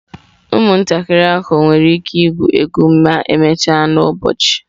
Ụmụntakịrị ahụ nwere ike igwu egwu ma emechaa n'ụbọchị?